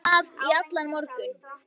Búin að vera að í allan morgun.